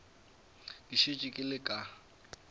ke šetše ke le ka